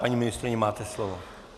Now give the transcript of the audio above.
Paní ministryně, máte slovo.